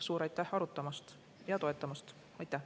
Suur aitäh arutamast ja toetamast!